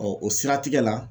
o siratigɛ la